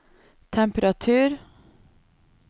temperatur